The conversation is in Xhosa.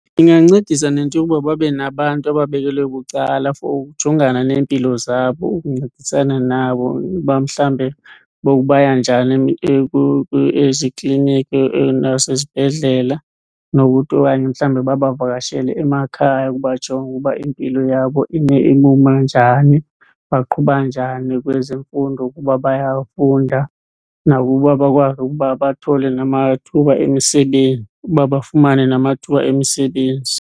Ingancedisa nento yoba babe nabantu ababekelwe bucala for ukujongana neempilo zabo, ukuncedisana nabo uba mhlawumbe baya njani ezikliniki nasezibhedlele. Nokuthi okanye mhlawumbe babavakashele emakhaya ukubajonga ukuba impilo yabo ime ibuma njani, baqhuba njani kwezemfundo, ukuba bayafunda nakuba bakwazi ukuba bathole namathuba emisebenzi, uba bafumane namathuba emisebenzi.